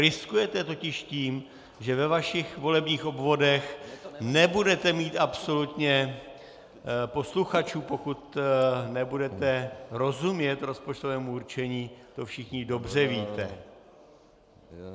Riskujete totiž tím, že ve vašich volebních obvodech nebudete mít absolutně posluchačů, pokud nebudete rozumět rozpočtovému určení, to všichni dobře víte.